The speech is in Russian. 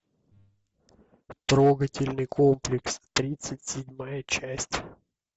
трогательный комплекс тридцать седьмая часть